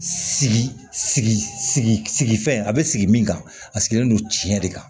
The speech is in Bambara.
Sigi sigifɛn a be sigi min kan a sigilen don tiɲɛ de kan